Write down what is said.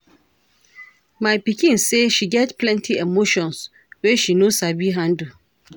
My pikin say she get plenty emotions wey she no sabi handle.